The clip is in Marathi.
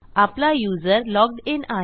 आपला युजर लॉग्ड इन आहे